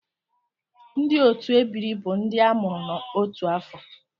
Ndị otu ebiri bụ ndị a mụrụ n'otu afọ